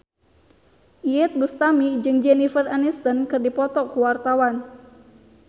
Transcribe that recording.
Iyeth Bustami jeung Jennifer Aniston keur dipoto ku wartawan